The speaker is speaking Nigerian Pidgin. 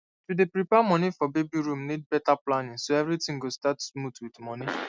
to dey prepare moni for baby room need better planning so everything go start smooth with moni